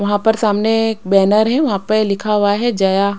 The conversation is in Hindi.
वहां पर सामने एक बैनर है वहां पर लिखा हुआ है जया--